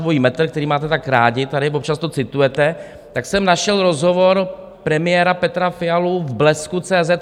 Dvojí metr, který máte tak rádi, tady občas to citujete, tak jsem našel rozhovor premiéra Petra Fialy v Blesku.cz